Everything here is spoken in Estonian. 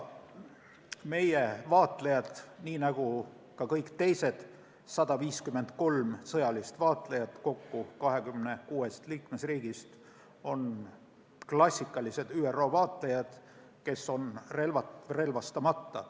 Meie vaatlejad, nii nagu ka kõik teised 153 sõjalist vaatlejat kokku 26 liikmesriigist, on klassikalised ÜRO vaatlejad, kes on relvastamata.